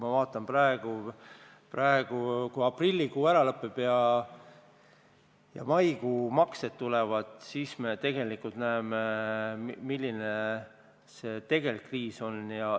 Ma vaatan praegu, et kui aprillikuu lõpeb ja tulevad maikuu maksed, siis me näeme, milline see tegelik seis on.